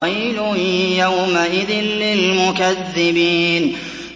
وَيْلٌ يَوْمَئِذٍ لِّلْمُكَذِّبِينَ